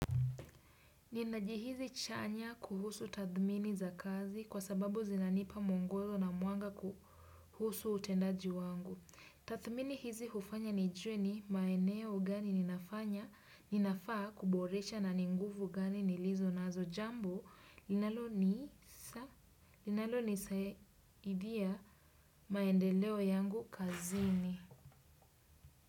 Nina jihisi chanya kuhusu tathmini za kazi kwa sababu zinanipa mungozo na mwanga kuhusu utendaji wangu. Tathmini hizi hufanya nijue ni maeneo gani ninafanya, ninafaa kuboresha na ni nguvu gani nilizo nazo jambo linalo ni linalo nisaidia maendeleo yangu kazini.